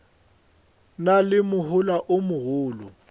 na le mohola o mogolo